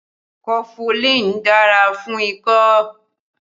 Kofulin dára fún ikọ́